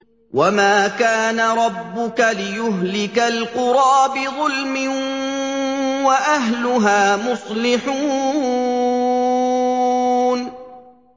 وَمَا كَانَ رَبُّكَ لِيُهْلِكَ الْقُرَىٰ بِظُلْمٍ وَأَهْلُهَا مُصْلِحُونَ